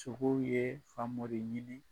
Sogow ye famori de ɲini.